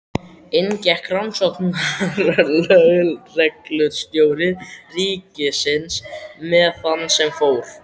Inn gekk rannsóknarlögreglustjóri ríkisins með þann sem fór.